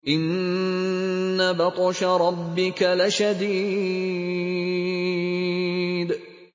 إِنَّ بَطْشَ رَبِّكَ لَشَدِيدٌ